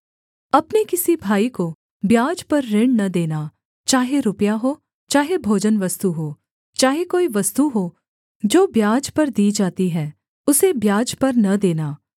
अपने किसी भाई को ब्याज पर ऋण न देना चाहे रुपया हो चाहे भोजनवस्तु हो चाहे कोई वस्तु हो जो ब्याज पर दी जाती है उसे ब्याज पर न देना